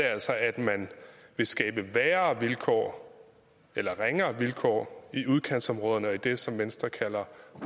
altså at man vil skabe værre vilkår eller ringere vilkår i udkantsområderne og i det som venstre kalder